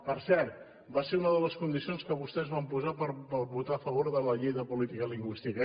per cert va ser una de les condicions que vostès van posar per votar a favor de la llei de política lingüística